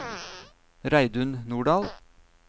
Reidun Nordahl